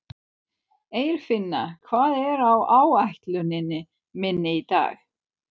Eirfinna, hvað er á áætluninni minni í dag?